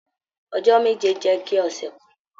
Ọjọ́ meje jẹ ki ọsẹ kan.